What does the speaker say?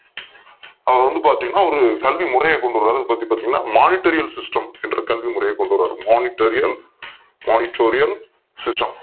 அவங்க வந்து பாத்தீங்கன்னா ஒரு கல்வி முறையை கொண்டு வராங்க என்னன்னு பார்த்தீங்கன்னா Monitorial system என்ற கல்வி முறையை கொண்டு வராங்க Monitorial Monitorial system